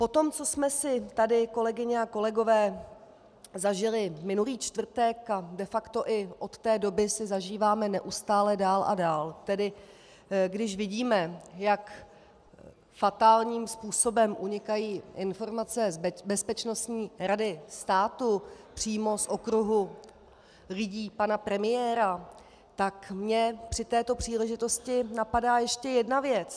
Po tom, co jsme si tady, kolegyně a kolegové, zažili minulý čtvrtek a de facto i od té doby si zažíváme neustále dál a dál, tedy když vidíme, jak fatálním způsobem unikají informace z Bezpečnostní rady státu, přímo z okruhu lidí pana premiéra, tak mě při této příležitosti napadá ještě jedna věc.